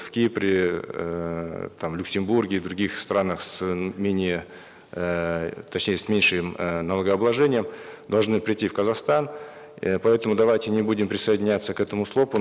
в кипре эээ там люксембурге других странах с менее эээ точнее с меньшим э налогообложением должны прийти в казахстан э поэтому давайте не будем присоединяться к этому слоп у